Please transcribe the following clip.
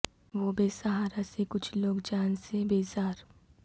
وہ بے سہارا سے کچھ لوگ جان سے بیزار